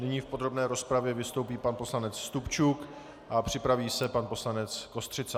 Nyní v podrobné rozpravě vystoupí pan poslanec Stupčuk a připraví se pan poslanec Kostřica.